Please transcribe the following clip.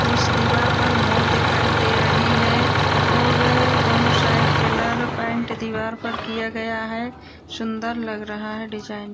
जिस दीवार पर मोर दिखाई दे रहे हैं और दोनों साइड कलर पेंट दीवार पर किया गया है | सुंदर लग रहा है डिजाइन